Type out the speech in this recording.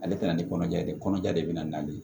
Ale tɛ na ni kɔnɔja ye dɛ kɔnɔja de bɛ na n'ale ye